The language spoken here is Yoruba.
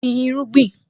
Gbin irúgbìn!